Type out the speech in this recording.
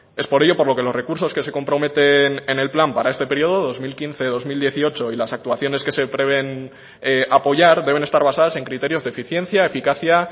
es por ello por lo que los recursos que se comprometen en el plan para este periodo dos mil quince dos mil dieciocho y las actuaciones que se prevén apoyar deben estar basadas en criterios de eficiencia eficacia